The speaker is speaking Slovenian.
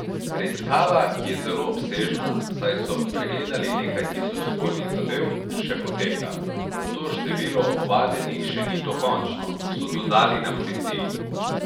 Preiskava, ki je zelo obsežna, saj so pregledali nekaj tisoč spornih zadev, še poteka, zato število ovadenih še ni dokončno, so dodali na policiji.